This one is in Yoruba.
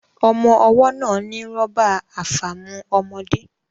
Ọmọ́ ọwọ́ náà ní rọ́bà àfàmu ọmọde